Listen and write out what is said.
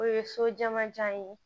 O ye so jamanjan ye